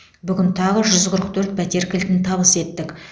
бүгін тағы жүз қырық төрт пәтер кілтін табыс еттік